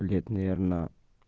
лет наверно